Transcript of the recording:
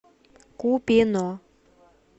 купино